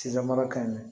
Sida mara ka ɲi